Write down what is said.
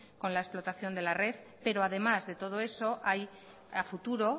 con la explotación de la red pero además de todo eso hay a futuro